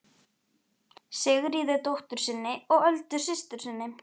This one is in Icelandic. Sigríði dóttur sinni og Öldu systur sinni.